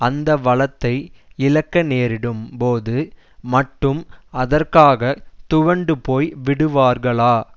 அந்த வளத்தை இழக்க நேரிடும் போது மட்டும் அதற்காகத் துவண்டு போய் விடுவார்களா